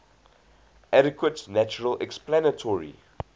adequate natural explanatory